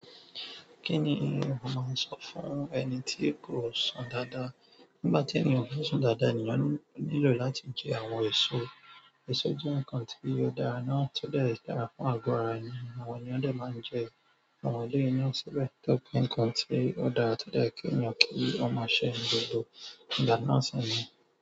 Kí ni o máa sọ fún ẹni tí kò sùn dáadáa? Nígbà tí èèyàn ò kì ń sùn dáadáa, ènìyàn nílò láti jẹ àwọn èso. Èso jẹ nǹkan tí ó dára náà tí ó dẹ dára fún agọ ara ènìyàn. Àwọn èèyàn dẹ̀ máa ń jẹ àwọn eléyi náà síbẹ̀, tó jẹ pé nǹkan tí ó dára, tó dẹ kí ènìyàn kí ó máa ṣe ní gbogbo ìgbà náà sì ni.